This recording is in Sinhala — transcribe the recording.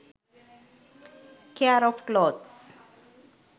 care of clothes